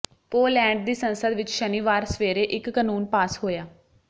Poland ਦੀ ਸੰਸਦ ਵਿਚ ਸ਼ਨੀਵਾਰ ਸਵੇਰੇ ਇਕ ਕਾਨੂੰਨ ਪਾਸ ਹੋਇਆ